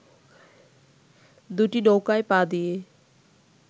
দুটি নৌকায় পা দিয়ে